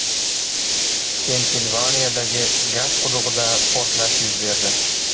Pensilvaniyadagi gaz qudug‘ida portlash yuz berdi.